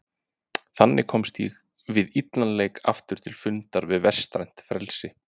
Þannig komst ég við illan leik aftur til fundar við vestrænt frelsi.